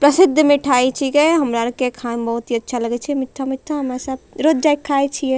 प्रसिद्ध मिठाई छींके हमारा आर के खाय में बहुत ही अच्छा लगय छै मिट्ठा-मिट्ठा हमे सब रोज जाय के खाय छिये।